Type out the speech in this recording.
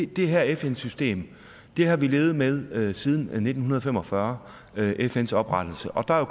det her fn system har vi levet med siden nitten fem og fyrre med fns oprettelse og der er